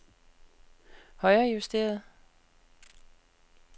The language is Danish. højrejusteret